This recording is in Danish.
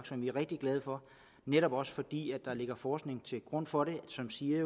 som vi er rigtig glade for netop også fordi der ligger forskning til grund for det som siger at